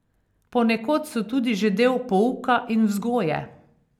Ponekod so tudi že del pouka in vzgoje.